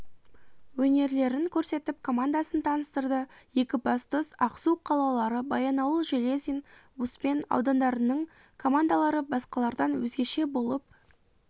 өнерлерін көрсетіп командасын таныстырды екібастұз ақсу қалалары баянауыл железин успен аудандарының командалары басқалардан өзгеше болып